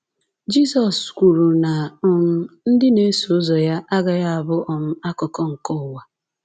Jizọs kwuru na um ndị na-eso ụzọ ya ‘agaghị abụ um akụkụ nke ụwa.’